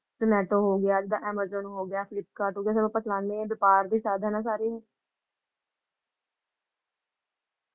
ਤੇ ਨੈਟ ਹੋਗਿਆ ਤੇ Amazon ਹੋਗਿਆ, Flipkart ਹੋਗਿਆ ਜੋ ਅੱਪਾ ਚਲਾਂਦੇ ਹਾਂ ਵ੍ਯਾਪਾਰ ਦੇ ਸਾਧਾਂ ਹੈ ਸਾਰੇ ਇਹ ।